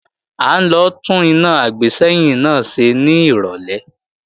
À ń lọ tún iná àgbésẹ́yìn náà ṣe ní ìrọ̀lẹ́